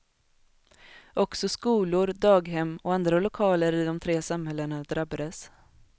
Också skolor, daghem och andra lokaler i de tre samhällena drabbades.